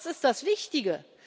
Was ist das Wichtige?